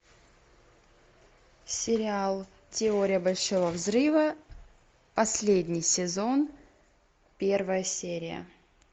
сериал теория большого взрыва последний сезон первая серия